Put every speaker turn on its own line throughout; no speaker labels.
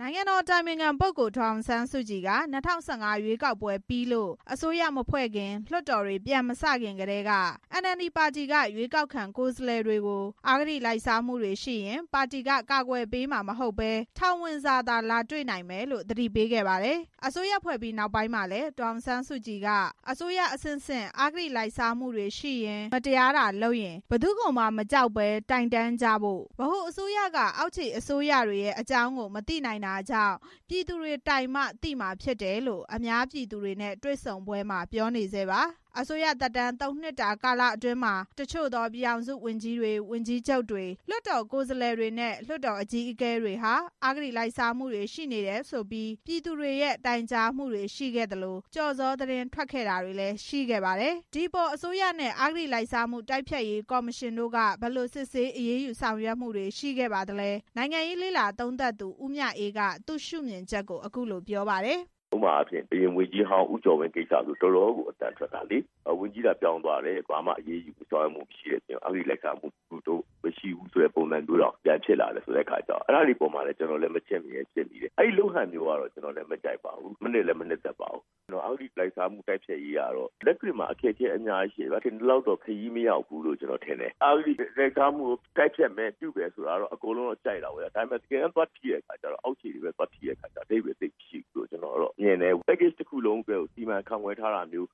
နိုင်ငံတော် အတိုင်ပင်ခံပုဂ္ဂိုလ် ဒေါ်အောင်ဆန်းစုကြည်က ၂၀၁၅ ရွေးကောက်ပွဲအောင်နိုင်ပြီးလို့ အစိုးရမဖွဲ့ခင်၊ လွှတ်တော်တွေပြန်မစတင်ခင်ကတည်းက NLD ပါတီက ရွေးကောက်ခံ ကိုယ်စားလှယ်တွေကို အဂတိလိုက်စား မှုတွေရှိရင် ပါတီက ကာကွယ်ပေးမှာမဟုတ်ဘဲ ထောင်ဝင်စာသာ လာတွေ့နိုင်မယ်လို့ သတိပေးခဲ့ပါတယ်။ အစိုးရဖွဲ့ပြီးနောက်ပိုင်းမှာလည်း ဒေါ်အောင်ဆန်းစုကြည် က အစိုးရအဆင့်ဆင့် အဂတိလိုက်စားမှုတွေရှိရင် မတရား တာလုပ်ရင် ဘယ်သူ့ကိုမှမကြောက်ဘဲ တိုင်တန်းကြဖို့၊ ဗဟိုအစိုးရက အောက်ခြေအစိုးရတွေရဲ့အကြောင်းကို မသိနိုင်တာကြောင့် ပြည်သူတွေတိုင်မှ သိမှာဖြစ်တယ်လို့ အများပြည်သူတွေနဲ့ တွေ့ဆုံပွဲတွေမှာ ပြောနေဆဲပါ။ အစိုးရသက်တမ်း ၃ နှစ်တာကာလအတွင်းမှာ တချို့သော ပြည်ထောင်စုဝန်ကြီးတွေ၊ ဝန်ကြီးချုပ်တွေ၊ လွှတ်တော် ကိုယ်စားလှယ်တွေနဲ့ လွှတ်တော်အကြီးအကဲတွေဟာ အဂတိလိုက်စားမှုတွေ ရှိနေတယ်ဆိုပြီး ပြည်သူတွေရဲ့ တိုင်ကြားမှုတွေရှိခဲ့သလို ကျော်ဇောသတင်းထွက်ခဲ့တာတွေလည်း ရှိခဲ့ပါတယ်။ ဒီအပေါ် အစိုးရနဲ့အဂတိလိုက်စားမှု တိုက်ဖျတ်ရေးကော်မရှင်တို့က ဘယ်လိုစစ်ဆေး အရေးယူ ဆောင်ရွက်မှုတွေ ရှိခဲ့ပါသလဲ။ နိုင်ငံရေးလေ့လာသုံးသပ်သူ ဦးမြအေးက သူရှုမြင်ချက်ကို အခုလို ပြောပါတယ်။
“ဥပမာ အရင်ဝန်ကြီးဟောင်း ဦးကျော်ဝင်းကိစ္စဆိုရင် တော်တော်ကို အသံထွက်တာ။ ဝန်ကြီးသာ ပြောင်းသွား တယ် ဘာမှအရေးယူဆောင်ရွက်မှု မရှိတဲ့အပြင် အဂတိလိုက်စားမှုမရှိဘူးဆိုတဲ့ ပုံစံမျိုးတောင် ပြန်ဖြစ်လာတော့ အဲဒါတွေကို မချင့်မရဲဖြစ်မိတယ်။ ကြိုက်လဲမကြိုက်ပါဘူး။ အဂတိလိုက်စားမှု တိုက်ဖျက်ရေးက လက်တွေ့မှာ အခက်အခဲအများကြီးရှိတယ်။ ထင်သလောက်တော့ ခရီးမရောက်ဘူးလို့ ထင်တယ်။ အဂတိလိုက်စားမှုကို တိုက်ဖျတ်မယ်ဆိုတာကတော့ အားလုံးက ကြိုက်တာပေါ့။ တကယ်တမ်း အောက်ခြေကိုပဲ သွားထိတာတော့ အဓိပ္ပါယ်သိပ်မရှိဘူးလို့ မြင်တယ်။ Package တစ်ခုလုံးကို စီမံခန့်ခွဲမှု အရမ်းအားနည်း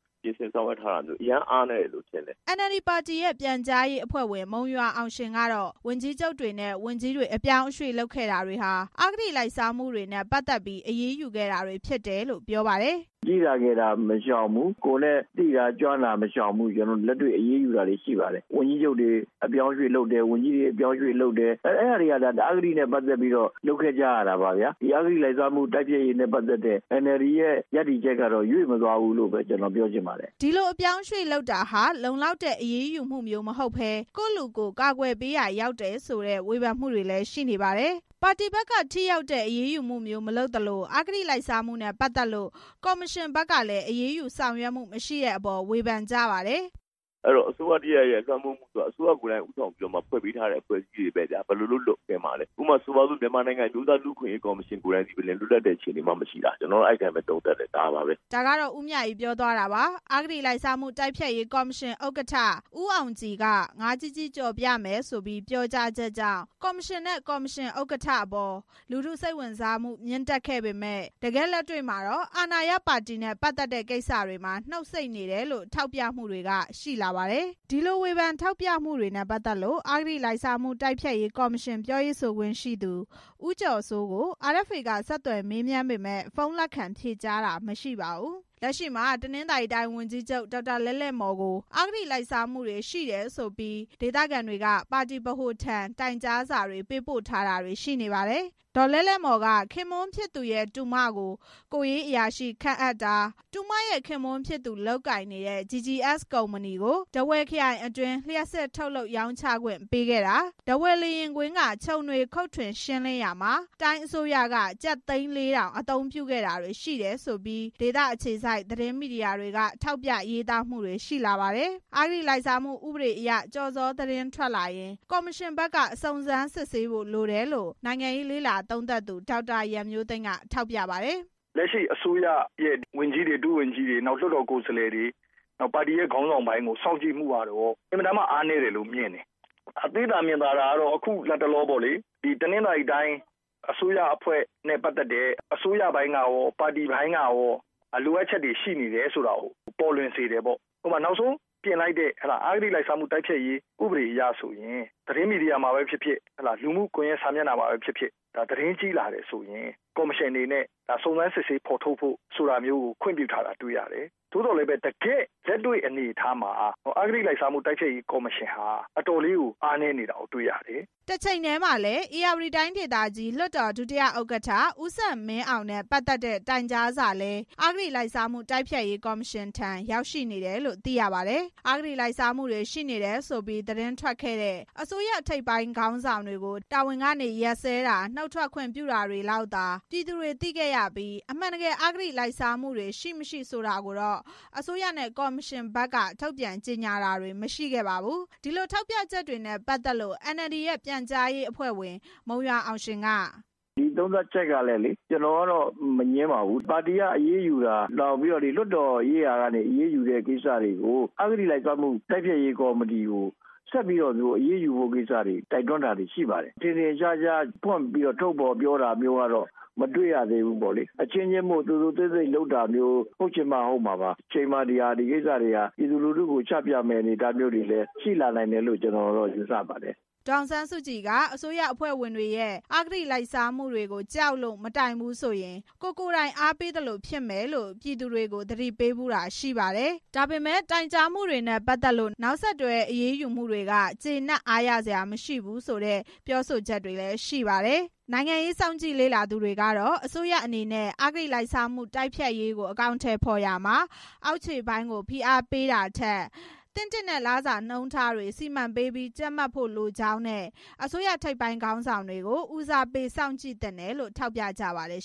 တယ်လို့ မြင်တယ်”
NLD ပါတီရဲ့ ပြန်ကြားရေးအဖွဲ့ဝင် မုံရွာအောင်ရှင်ကတော့ ဝန်ကြီးချုပ်တွေနဲ့ ဝန်ကြီးတွေ အပြောင်း အရွှေ့လုပ်ခဲ့တာတွေဟာ အဂတိလိုက်စားမှုတွေနဲ့ ပတ်သက်ပြီး အရေးယူခဲ့တာတွေ ဖြစ်တယ်လို့ ပြောပါတယ်။
“ကြီးတာငယ်တာ မရှောင်ဘူး၊ ကိုယ်နဲ့ သိတာကျွမ်းတာ မရှောင်ဘူး။ လက်တွေ့အရေးယူတာတွေ ရှိပါတယ်။ ဝန်ကြီးချုပ်တွေ၊ ဝန်ကြီးတွေ အပြောင်းအရွှေ့လုပ်တာတွေဟာ အဲဒါတွေဟာ အဂတိနဲ့ ပတ်သက်ပြီးလုပ်ခဲ့ကြတာပါ။ အဂတိနဲ့ပတ်သက်ပြီး အန်အယ်ဒီရဲ့ ရပ်တည်ချက်က ရွေ့မသွားဘူးလို့ပဲ ကျနော် ပြောချင်ပါတယ်” အဲ
ဒီလို အပြောင်းအရွှေ့လုပ်တာတွေဟာ လုံလောက်တဲ့ အရေးယူမှုမျိုးမဟုတ်ဘဲ ကိုယ့်လူကိုယ် ကာကွယ်ပေး ရာရောက်တယ်လို့ ဝေဖန်မှုတွေလည်း ရှိနေပါတယ်။ ပါတီဘက်က ထိရောက်တဲ့အရေးယူမှုမျိုး မလုပ်နိုင်တဲ့အခါ အဂတိလိုက်စားမှုနဲ့ပတ်သက်လို့ ကော်မရှင်ဘက် ကလည်း အရေးယူဆောင်ရွက်တာ မရှိတဲ့အပေါ် ဝေဖန်ကြပါတယ်။
“အဲဒီတော့ အစိုးရတစ်ရပ်ရဲ့ လွှမ်းမိုးမှုဆိုတာက အစိုးရကိုယ်တိုင်က ဦးဆောင်ပြီးဖွဲ့စည်းပေးထားတဲ့ အဖွဲ့အစည်းတွေပဲ ဘယ်လိုလုပ် လွတ်ကင်းမှာပဲ။ ဥပမာ မြန်မာနိုင်ငံ အမျိုးသားလူ့အခွင့်အရေး ကော်မရှင် ကိုယ်တိုင်သည်ပင် လွတ်လပ်တဲ့အခြေအနေမှ မရှိတာ။ ကျနော်က အဲဒီလိုပဲ သုံးသပ်ပါတယ်”
ဦးမြအေး ပြောသွားတာပါ။ အဂတိလိုက်စားမှု တိုက်ဖျက်ရေးကေ်ာမရှင် ဥက္ကဋ္ဌ ဦးအောင်ကြည်ရဲ့ ငါးကြီးကြီး ကြော်ပြမယ်ဆိုပြီး ပြောကြား ချက်ကြောင့် ကော်မရှင်နဲ့ ကော်မရှင် ဥက္ကဋ္ဌအပေါ် လူထုစိတ်ဝင်စားမှု မြင့်တက်ခဲ့ပေမယ့် တကယ့်လက်တွေ့ မှာတော့ လက်ရှိအာဏာရပါတီနဲ့ ပတ်သက်တဲ့ကိစ္စတွေမှာ နှုတ်ဆိတ်နေတယ်လို့ ထောက်ပြသူတွေလည်း ရှိပါတယ်။ ဒီလိုဝေဖန်ထောက်ပြမှုတွေနဲ့ပတ်သက်လို့ အဂတိလိုက်စားမှု တိုက်ဖျက်ရေး ကော်မရှင် ပြောရေးဆိုခွင့်ရှိသူ ဦးကျော်စိုးကို RFA က ဆက်သွယ်မေးမြန်းပေမယ့် ဖုန်းလက်ခံဖြေကြားတာ မရှိပါဘူး။ လက်ရှိမှာ တနင်္သာရီတိုင်း ဝန်ကြီးချုပ် ဒေါက်တာ လဲ့လဲ့မော်ကို အဂတိလိုက်စားမှုတွေ ရှိတယ်ဆိုပြီး ဒေသခံတွေက ပါတီဗဟိုထံ တိုင်ကြားစာပေးပို့ထားတာတွေ ရှိနေပါတယ်။ ဒေါ်လဲ့လဲ့မော်က ခင်ပွန်းဖြစ်သူရဲ့ တူမကို ကိုယ်ရေး အရာရှိ ခန့်အပ်တာ၊ တူမရဲ့ ခင်ပွန်းဖြစ်သူ လုပ်ကိုင်နေတဲ့ GGS ကုမ္ပဏီကို ထားဝယ်ခရိုင်အတွင်း လျှပ်စစ်ထုတ်လုပ် ရောင်းချခွင့်ပေးခဲ့တာ၊ ထားဝယ်လေယာဉ်ကွင်းက ချုံတွေခုတ်ထွင်ရှင်းလင်းရာမှာ တိုင်းအစိုးရက ကျပ် သိန်း ၄၀၀၀ အသုံးပြုခဲ့တာတွေရှိတယ်ဆိုပြီး ဒေသအခြေစိုက် သတင်းမီဒီယာတွေက ထောက်ပြရေးသားချက်တွေ ရှိလာပါတယ်။ အဂတိလိုက်စားမှုဥပဒေအရ ကျော်ဇောသတင်းထွက်လာရင် ကော်မရှင်ဘက်က စုံစမ်းစစ်ဆေးဖို့ လိုတယ်လို့ နိုင်ငံရေးလေ့လာသုံးသပ်သူ ဒေါက်တာ ရန်မျိုးသိမ်းက ထောက်ပြပါတယ်။
“လက်ရှိ အစိုးရရဲ့ ဝန်ကြီးတွေ၊ ဒုဝန်ကြီးတွေနောက် လွှတ်တော် ကိုယ်စားလှယ်တွေ ပါတီရဲ့ ခေါင်းဆောင် ပိုင်းကို စောင့်ကြည့်မှုကတော့ အင်မတန်မှ အားနည်းတယ်လို့မြင်တယ်၊ သိသာမြင်သာ တာကတော့ အခုလတ်တလောပေ့ါလေ တနင်္သာရီတိုင်း အစိုးရနဲ့ ပတ်သက်တဲ့ အစိုးရပိုင်းကရော ပါတီပိုင်းကရော လိုအပ်ချက်တွေ ရှိနေတာကို ပေါ်လွင်စေတယ်ပေါ့၊ ဥပမာ နောက်ဆုံးပြင်လိုက်တဲ့ အဂတိလိုက်စားမှု ဥပဒေအရဆိုရင် သတင်းမီဒီယာမှာပဲဖြစ်ဖြစ်၊ လူမှုကွန်ရက်စာမျက်နှာမှာပဲဖြစ်ဖြစ် သတင်းကြီးလာတယ်ဆိုရင် ကော်မရှင်အနေနဲ့ စုံစမ်းစစ်ဆေးဖော်ထုတ်ဖို့ ခွင့်ပြုထားတာတွေ့ရတယ်၊ သို့သော် တကယ့်လက်တွေ့ အနေအထားမှာ အဂတိလိုက်စားမှု တိုက်ဖျက်ရေး ကော်မရှင်ဟာ အတော်လေးကို အားနည်းနေတာကို တွေ့ရတယ်”
တချိန်တည်းမှာလည်း ဧရာဝတီတိုင်းဒေသကြီး လွှတ်တော် ဒုတိယဥက္ကဋ္ဌ ဦးစံမင်းအောင် နဲ့ပတ်သက်တဲ့ တိုင်ကြားစာလည်း အဂတိလိုက်စားမှု တိုက်ဖျက်ရေးကော်မရှင်ထံ ရောက်ရှိနေတယ်လို့ သိရပါတယ်။ အဂတိလိုက်စားမှုတွေရှိတယ်ဆိုပြီး သတင်းတွေထွက်ခဲ့တဲ့ အစိုးရထိပ်ပိုင်းခေါင်းဆောင်တွေကို တာဝန်ကနေရပ်စဲတာ၊ နုတ်ထွက်ခွင့်ပြုတာတွေလောက်သာ ပြည်သူတွေသိခဲ့ရပြီး အမှန်တကယ် အဂတိလိုက်စားမှုတွေရှိ၊ မရှိဆိုတာကို အစိုးရနဲ့ ကော်မရှင်ဘက်က ထုတ်ပြန်ကြေညာတာ မရှိတဲ့အပေါ် ထောက်ပြမှုတွေလည်းရှိပါတယ်။ ဒီထောက်ပြချက်တွေနဲ့ ပတ်သက်လို့ NLD ရဲ့ ပြန်ကြားရေးအဖွဲ့ဝင် မုံရွာအောင်ရှင်က---
“ဒီသုံးသပ်ချက်ကလေ ကျနော်ကတော့ မငြင်းပါဘူး။ ပါတီကအရေးယူတာ၊နောက်ပြီး လွှတ်တော်ရေးရာက အရေးယူတဲ့ကိစ္စတွေကို အဂတိလိုက်စားမှု တိုက်ဖျက်ရေးကော်မတီကို ဆက်ပြီးတော့ အရေးယူဖို့ကိစ္စတွေ ရှိပါတယ်။ ထင်ထင်ရှားရှားဖွင့်ပြီး ထုတ်ဖော်ပြောတာမျိုးကတော့ မတွေ့ရသေးဘူးပေါ့။ အချင်းချင်းမို့ သိုသိုသိပ်သိပ်လုပ်တာမျိုး၊ ဟုတ်ချင်မှဟုတ်မှာပါ။ တချိန်မှာ ဒီကိစ္စတွေဟာ ပြည်သူလူထုကို ချပြမယ့် အနေအထားတွေရှိလာမယ့် အနေအထားတွေ ရှိလာမယ်လို့လည်း ကျနော်တော့ ယူဆပါတယ်
" ဒေါ်အောင်ဆန်းစုကြည်က အစိုးရအဖွဲ့ဝင်တွေရဲ့ အဂတိလိုက်စားမှုတွေကို ကြောက်လို့မတိုင်ဘူးဆိုရင် ကိုယ်ကိုယ်တိုင် အားပေးသလိုဖြစ်မယ်လို့ ပြည်သူတွေကို သူမက သတိပေးဖူးတာရှိပါတယ်။ ဒါပေမဲ့ တိုင်ကြားမှုတွေနဲ့ပတ်သက်လို့ နောက်ဆက်တွဲ အရေးယူမှုတွေအပေါ်မှာ ကျေနပ်အားရစရာမရှိဘူးဆိုပြီးလည်း ပြောကြပါတယ်။ နိုင်ငံရေးစောင့်ကြည့်လေ့လာသူတွေကတော့ အစိုးရအနေနဲ့ အဂတိလိုက်စားမှု တိုက်ဖျက်ရေးကို အကောင် အထည်ဖော်ရာမှာ အောက်ခြေပိုင်းကို ဖိအားပေးတာထက် အစိုးရဌာနဆိုင်ရာ အဆင့်ဆင့်ကို သင့်တင့်တဲ့ လစာနှုန်းထားတွေ စီမံပေးပြီး ကြပ်မတ်ဖို့လိုကြောင်း၊ အစိုးရထိပ်ပိုင်း ခေါင်းဆောင်တွေကို ဦးစားပေးစောင့်ကြည့် သင့်တယ်လို့ ထောက်ပြကြပါတယ်